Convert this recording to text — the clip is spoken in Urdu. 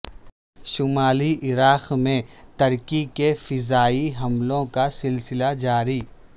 شمالی عراق میں ترکی کے فضائی حملوں کا سلسلہ جاری